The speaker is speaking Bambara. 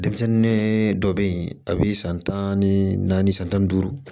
Denmisɛnnin dɔ bɛ yen a bɛ san tan ni naani san tan ni duuru